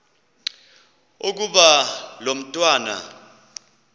ukuba lo mntwana